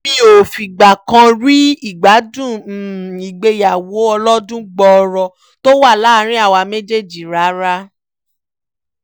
mi ò fìgbà kan rí ìgbádùn ìgbéyàwó ọlọ́dún gbọọrọ tó wà láàrin àwa méjèèjì rárá